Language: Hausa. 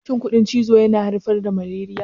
Shin ƙudan cizo yana haifar da malariya?